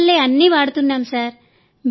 మీ వల్లే అన్నీ వాడుతున్నాం సార్